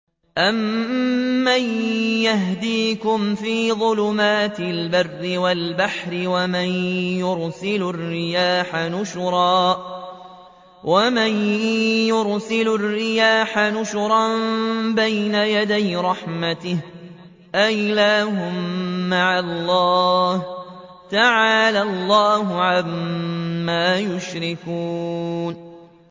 أَمَّن يَهْدِيكُمْ فِي ظُلُمَاتِ الْبَرِّ وَالْبَحْرِ وَمَن يُرْسِلُ الرِّيَاحَ بُشْرًا بَيْنَ يَدَيْ رَحْمَتِهِ ۗ أَإِلَٰهٌ مَّعَ اللَّهِ ۚ تَعَالَى اللَّهُ عَمَّا يُشْرِكُونَ